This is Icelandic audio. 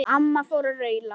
Amma fór að raula.